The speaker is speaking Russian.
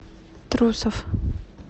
трусов